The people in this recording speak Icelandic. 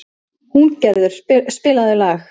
Húngerður, spilaðu lag.